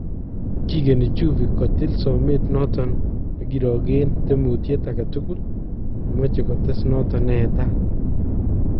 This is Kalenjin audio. Kikenii Juve kotiil someet kirookee tyemuutyet agetukul nemache kotees noton neetat